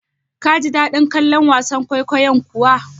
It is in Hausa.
Kaji daɗin kallon wasan kwaikwayon kuwa?